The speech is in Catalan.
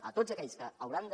a tots aquells que hauran de